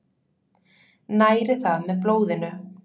Næri það með blóðinu.